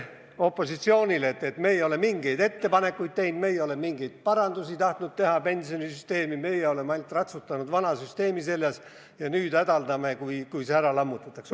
Opositsioonile heideti siin ette, et me ei ole mingeid ettepanekuid teinud, me ei ole mingeid parandusi tahtnud teha pensionisüsteemi, me oleme ainult ratsutanud vana süsteemi seljas ja nüüd hädaldame, kui see ära lammutatakse.